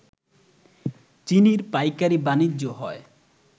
চিনির পাইকারি বাণিজ্য হয়